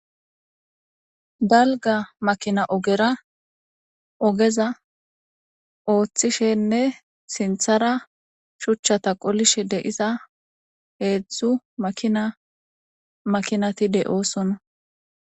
Dalga makina ogera ogeza othishene sintara shuchata qolishe de'iza hedzu makina makinati de'osona.